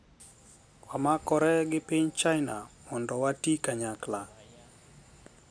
Wamakore gi piny China mondo watii kanyakla